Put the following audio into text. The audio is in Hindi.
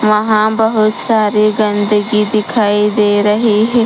वहां बहोत सारे गंदगी दिखाई दे रही हैं।